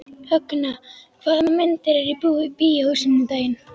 Högna, hvaða myndir eru í bíó á sunnudaginn?